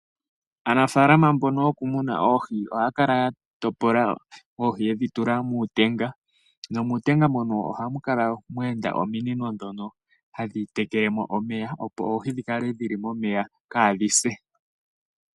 Aanafaalama mbono yokumuna oohi ohaya kala ya topola oohi ye dhi tula muutenga nomuutenga mono ohamu kala mwe enda ominino tadhi tekele mo omeya, opo oohi dhikale dhi li momeya kaadhi se.